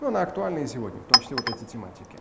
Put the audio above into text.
ну на актуальные сегодня в том числе вот эти тематики